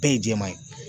Bɛɛ ye jɛman ye